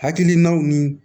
Hakilinaw ni